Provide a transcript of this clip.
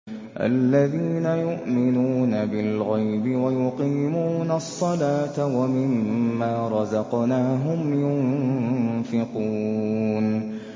الَّذِينَ يُؤْمِنُونَ بِالْغَيْبِ وَيُقِيمُونَ الصَّلَاةَ وَمِمَّا رَزَقْنَاهُمْ يُنفِقُونَ